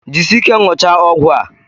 Jisie ike ṅụchaa ọgwụ a!